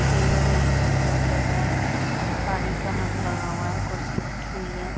खेल रहे हैं लगा है पानी का नल लगा हुआ है कुर्सी रखी हुई है।